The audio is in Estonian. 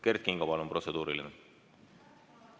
Kert Kingo, palun protseduuriline küsimus!